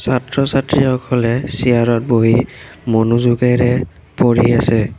ছাত্ৰ ছাত্ৰীসকলে চিয়াৰ ত বহি মনোযোগেৰে পঢ়ি আছে।